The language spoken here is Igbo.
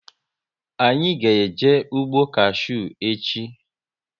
Anyị ga eje ụgbọ kashew echi